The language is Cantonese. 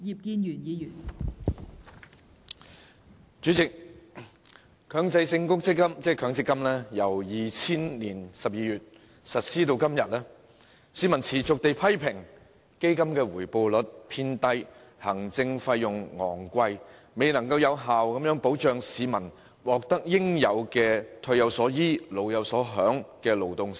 代理主席，強制性公積金計劃自2000年12月實施至今，市民持續批評基金回報率偏低，行政費用昂貴，因而未能有效保障市民的勞動成果，無法達致"退有所依，老有所享"的目標。